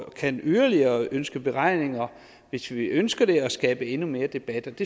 kan yderligere ønske beregninger hvis vi ønsker det og skabe endnu mere debat